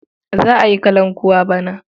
Za a yi kalankuwa bana.